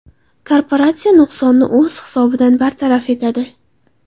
Korporatsiya nuqsonni o‘z hisobidan bartaraf etadi.